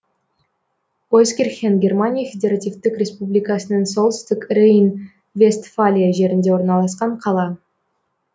ойскирхен германия федеративтік республикасының солтүстік рейн вестфалия жерінде орналасқан қала